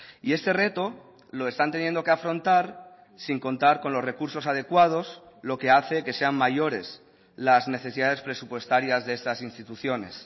y este reto lo están teniendo que afrontar sin contar con los recursos adecuados lo que hace que sean mayores las necesidades presupuestarias de estas instituciones